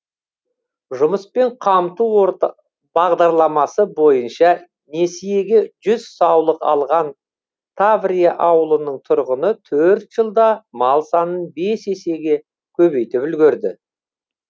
жұмыспен қамту бағдарламасы бойынша несиеге жүз саулық алған таврия ауылының тұрғыны төрт жылда мал санын бес есеге көбейтіп үлгерді